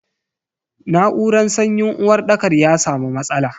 Na'uran sanyin uwarɗakar ya samu matsala.